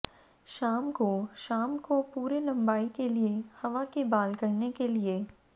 शाम को शाम को पूरे लंबाई के लिए हवा के बाल करने के लिए